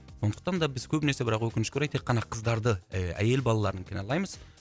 сондықтан да біз көбінесе бірақ өкінішке орай тек қана қыздарды ы әйел балаларын кінәлаймыз